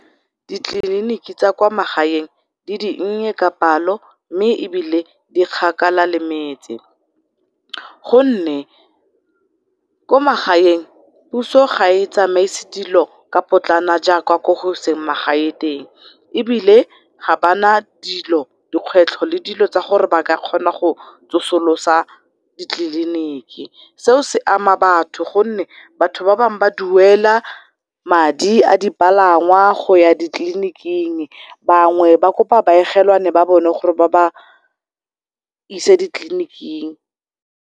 Ditleliniki tsa kwa magaeng di dinnye ka palo mme ebile di kgakala le metse, gonne ko magaeng puso ga e tsamaisi dilo ka potlana jaaka ko eseng magae teng ebile gabana dilo, dikgwetlho le dilo tsa gore baka kgona go tsosolosa ditleliniki. Seo se ama batho gonne batho ba bang ba duela madi a di palangwa goya ditleliiniking bangwe ba kopa baegelwane ba bona gore ba ba ise ditleliniking.